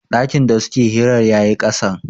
dakin da suke hirar ya yi kasan